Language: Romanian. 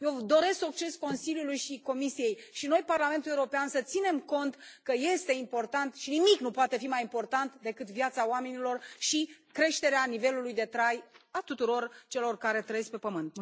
Eu doresc succes Consiliului și Comisiei, și noi, Parlamentul European, să ținem cont că este important și nimic nu poate fi mai important decât viața oamenilor și creșterea nivelului de trai a tuturor celor care trăiesc pe pământ.